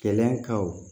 Kɛlɛkaw